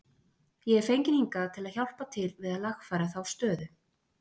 Ég er fenginn hingað til að hjálpa til við að lagfæra þá stöðu.